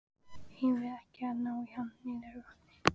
Eigum við ekki að ná í hann niður að vatni?